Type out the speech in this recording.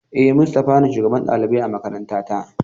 E, Mustafa ne shugaban ɗalibai a makarantata.